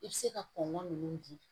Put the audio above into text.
I bɛ se ka kɔngɔn ninnu di